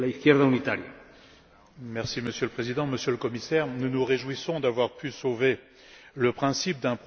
Monsieur le Président, Monsieur le Commissaire, nous nous réjouissons d'avoir pu sauver le principe d'un programme d'aide aux plus démunis.